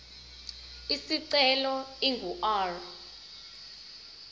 isicelo ingu r